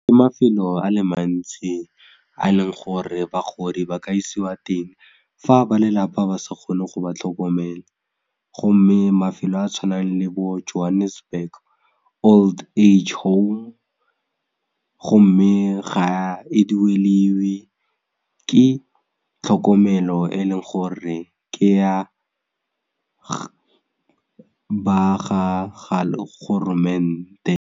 Mafelo a le mantsi a leng gore bagodi ba ka isiwa teng fa ba lelapa ba se kgone go ba tlhokomela gomme mafelo a tshwanang le bo johannesburg old age home gomme ga e dueliwe ke tlhokomelo e e leng gore ke ya ba ga golomente.